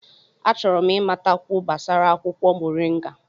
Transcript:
Achọrọ m ịmatakwu gbasara akwụkwọ moringa.